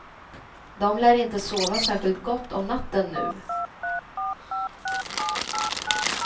De lär inte sova särskilt gott om natten nu.